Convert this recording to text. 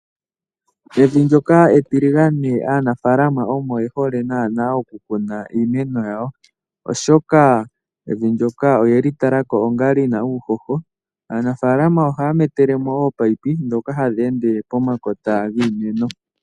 Evi ndjoka etiligane aanafalama omo yehole nana oku kuna iimeno yawo oshoka evi ndjoka oyeli talako onga lina uuhoho. Aanafalama ohaya metelemo ominino dhoka hadhi ende pomakota giimeno